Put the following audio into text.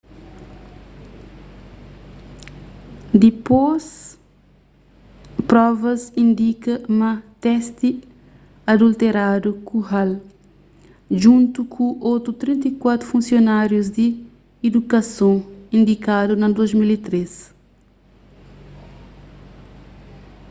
dipôs provas indika ma testi adulteradu ku hall djuntu ku otu 34 funsionárius di idukason indikadu na 2013